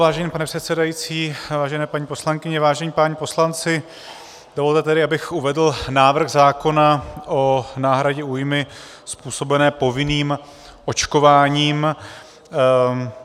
Vážený pane předsedající, vážené paní poslankyně, vážení páni poslanci, dovolte tedy, abych uvedl návrh zákona o náhradě újmy způsobené povinným očkováním.